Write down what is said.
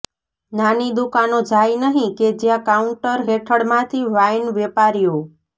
નાની દુકાનો જાય નહીં કે જ્યાં કાઉન્ટર હેઠળ માંથી વાઇન વેપારીઓ